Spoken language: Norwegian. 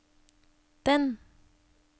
den